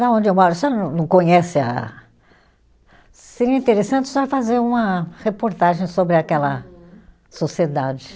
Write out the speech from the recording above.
Lá onde eu moro, você não não conhece a, seria interessante a senhora fazer uma reportagem sobre aquela sociedade.